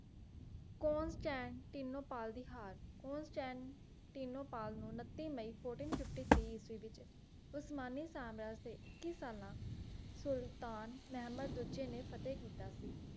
Constantinople ਦੀ ਹਰ Constantinople ਨੂੰ ਉਨੱਤੀ ਮਈ fourteen fifty three ਇਸਵੀਂ ਵਿੱਚ ਉਸਮਾਨੀ ਸਮਰਾਜ ਦੇ ਇੱਕੀ ਸਾਲਾਂ ਸੁਲਤਾਨ ਮਹਿਮੂਦ ਦੂਜੇ ਨੇ ਫਤਹਿ ਕੀਤਾ ਸੀ